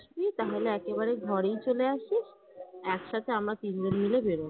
আসবি তাহলে একেবারে ঘরেই চলে আসিস একসাথে আমরা তিনজন মিলে বেরোবো।